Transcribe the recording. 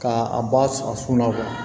Ka a ba a funu